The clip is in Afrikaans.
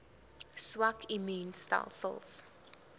swak immuun stelsels